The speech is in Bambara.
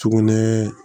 Sugunɛ